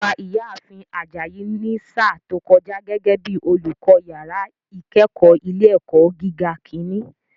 Wọ́n gba ìyá ààfin Ajayi ní sáà tó kọjá gẹ́gẹ́ bíi olùkọ́ yàrá ìkẹ́kọ̀ọ́ ilé ẹ̀kọ́ gíga ìkíní